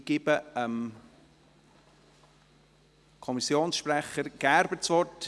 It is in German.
Ich gebe Kommissionssprecher Gerber das Wort.